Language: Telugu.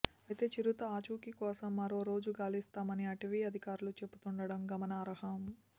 అయితే చిరుత ఆచూకీ కోసం మరో రోజు గాలిస్తామని అటవీ అధికారులు చెబుతుండటం గమనార్హం